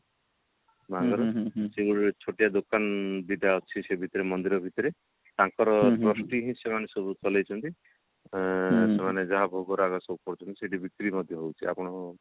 ସବୁ ଛୋଟିଆ ଦୋକାନ ଦିଟା ଅଛି ସେ ଭିତରେ ମନ୍ଦିର ଭିତରେ ତାଙ୍କର ହିଁ ସେମାନେ ସବୁ ଚଳେଇ ଛନ୍ତି ଆଁ ସେମାନେ ଯାହା ଭୋଗରାଗ ସବୁ କରୁଛନ୍ତି ସେଠି ବିକ୍ରି ମଧ୍ୟ ହଉଛି ଆଉ